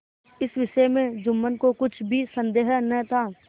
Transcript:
इस विषय में जुम्मन को कुछ भी संदेह न था